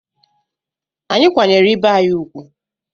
Anyị kwanyere ibe anyị ùgwù.